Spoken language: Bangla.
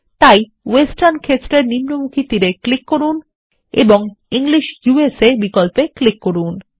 তাই ওয়েস্টার্ন ক্ষেত্রের নিম্নমুখী তীর এক্লিক করুন এবং ইংলিশ ইউএসএ বিকল্পে ক্লিক করুন